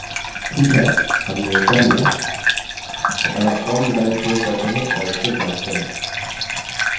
ठीक है हमने कर लिया अतः form डिजाइन so करते हैं और इसको जाँचते हैं